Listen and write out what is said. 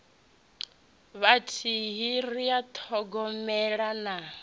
vhathihi ri a ṱhogomela na